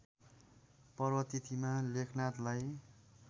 पर्व तिथिमा लेखनाथलाई